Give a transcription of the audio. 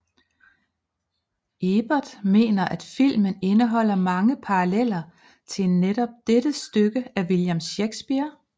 Ebert mener at filmen indeholder mange paralleller til netop dette stykke af William Shakespeare